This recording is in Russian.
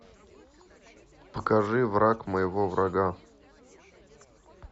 покажи враг моего врага